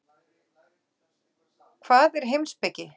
Hvað er heimspeki?